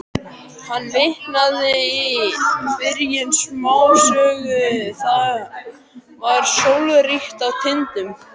Hann vitnaði í byrjun smásögu: Það var sólríkt á Tindum.